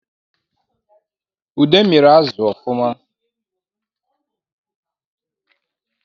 Ude miri azụ ọfụma